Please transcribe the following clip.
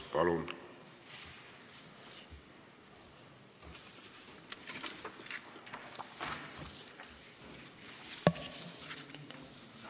Palun!